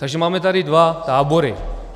Takže tady máme dva tábory.